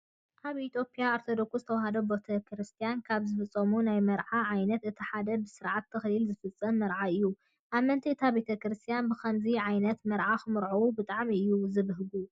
ኣብ ኢትዮጵያ ኦርቶዶክስ ተዋህዶ ቤተክርስቲያን ካብ ዝፍፀሙ ናይ መርዓ ዓይነታት እቲ ሓደ ብስርዓተ ተክሊል ዝፍፀም መርዓ እዩ። ኣመንቲ እታ ቤተክርስቲያን ብከምዚ ዓይነት መርዓ ክምርዐው ብጣዕሚ እዮም ዝብህጉ።